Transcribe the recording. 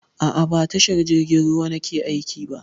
A'a, ba a tashar jirgin ruwa nake aiki ba.